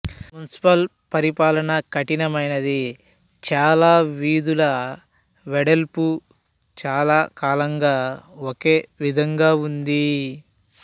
municipal పరిపాలన కఠినమైనది చాలా వీధుల వెడల్పు చాలా కాలంగా ఒకే విధంగా ఉంది